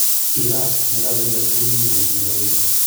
Iraq ne kabenda chi Nimrud nebo IS.